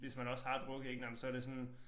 Hvis man også har drukket ik nåh men så det sådan